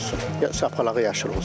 Saplağı yaşıl olsun.